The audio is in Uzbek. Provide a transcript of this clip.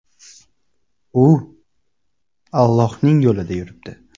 U Allohning yo‘lida yuribdi.